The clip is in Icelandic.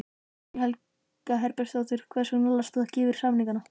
Guðný Helga Herbertsdóttir: Hvers vegna last þú ekki yfir samningana?